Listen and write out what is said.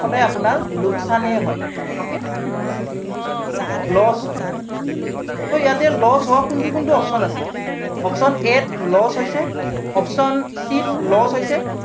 সদায় আপোনাৰ লোকচান হে হয় okay loss হয় so ইয়াতে loss হোৱা কোনটো কোনটো option আছে, option a ত loss হৈছে, option c ত loss হৈছে